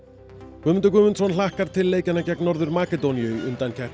Guðmundur Guðmundsson hlakkar til leikjanna gegn Norður Makedóníu í undankeppni